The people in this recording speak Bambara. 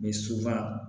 Ni supaan